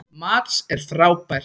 Mads er frábær.